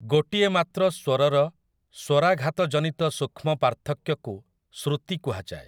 ଗୋଟିଏ ମାତ୍ର ସ୍ୱରର ସ୍ୱରାଘାତଜନିତ ସୂକ୍ଷ୍ମ ପାର୍ଥକ୍ୟକୁ ଶ୍ରୁତି କୁହାଯାଏ ।